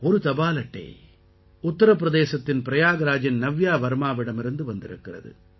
ஒரு தபால் அட்டை உத்திர பிரதேசத்தின் பிரயாக்ராஜின் நவ்யா வர்மாவிடமிருந்து வந்திருக்கிறது